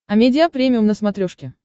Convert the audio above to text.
амедиа премиум на смотрешке